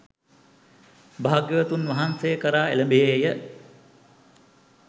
භාග්‍යවතුන් වහන්සේ කරා එළඹියේය.